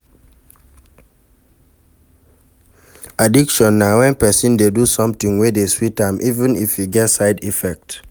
Addiction na wen person dey do something wey dey sweet am even if e get side effect